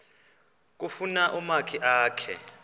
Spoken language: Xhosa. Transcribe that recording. kufuna umakhi akhe